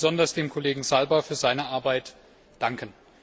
Ich möchte besonders dem Kollegen Zalba für seine Arbeit danken!